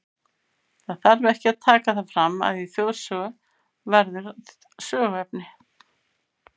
Það þarf ekki að taka það fram, að í þjóðsögu verður að vera söguefni.